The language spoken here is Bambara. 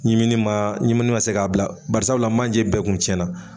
Ɲimini ma, ɲimini ma se k'a bila barisabula manjɛ bɛɛ kun tiɲɛna.